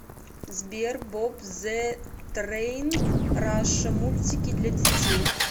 сбер боб зэ трэин раша мультики для детей